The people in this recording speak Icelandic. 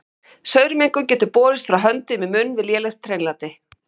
Saurmengun getur borist frá höndum í munn við lélegt hreinlæti.